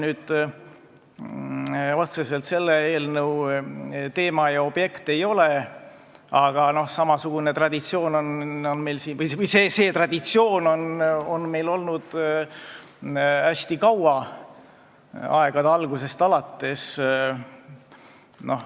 See otseselt selle eelnõu teema ja objekt ei ole, aga see traditsioon on meil olnud hästi kaua, aegade algusest alates.